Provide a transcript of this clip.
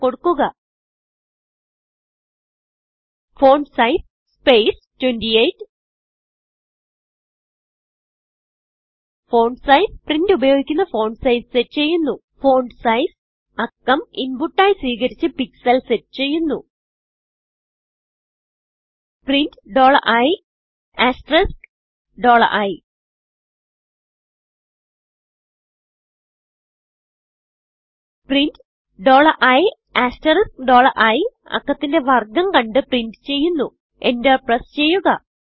enter കൊടുക്കുക font size space 28 font size print ഉപയോഗിക്കുന്ന font size set ചെയ്യുന്നു Fontsizeഅക്കം inputആയി സ്വീകരിച്ച് pixelസെറ്റ് ചെയ്യുന്നു പ്രിന്റ് ii പ്രിന്റ് iiഅക്കത്തിന്റെ വർഗം കണ്ട് പ്രിന്റ് ചെയ്യുന്നു enterപ്രസ് ചെയ്യുക